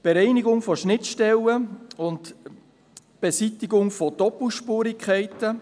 zweitens, Bereinigung von Schnittstellen und Beseitigung von Doppelspurigkeiten;